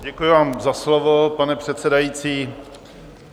Děkuji vám za slovo, pane předsedající.